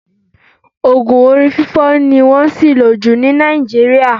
Oògùn orí fífọ́ ni wọ́n ṣìlò jù ní Nàìjíríà